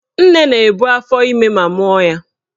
Nne na-ebu afọime ma mụọ ya.